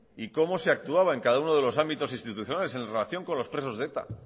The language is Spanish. y cómo se actuaba en cada uno de los ámbitos institucionales en relación con los presos de eta